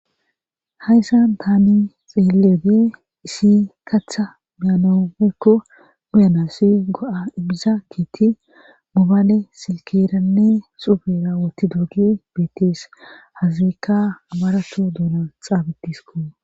hayssan tani xeeloode isi katha manawu woyko uyanasi go7a imizageti mubale silkeranne subera woti doogi beetees hazikka abarato duuna xaabitisko